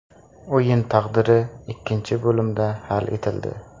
O‘yin taqdiri ikkinchi bo‘limda hal etildi.